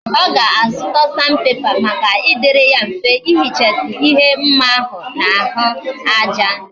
Oga azuta sandpaper Maka idiri ya mfe ihichasi ihe mma ahu na ahu aja